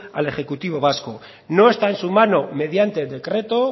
al ejecutivo vasco no está en su mano mediante decreto